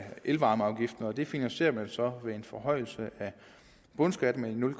elvarmeafgiften det finansierer man så med en forhøjelse af bundskatten med nul